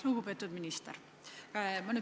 Lugupeetud minister!